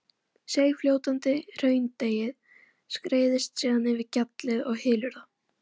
Seigfljótandi hraundeigið skreiðist síðan yfir gjallið og hylur það.